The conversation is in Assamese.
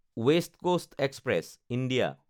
west Coast Express (India)